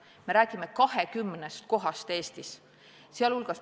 Me räägime 20 kohast Eestis.